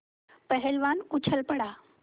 पहलवान उछल पड़ा